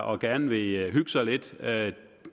og gerne vil hygge sig lidt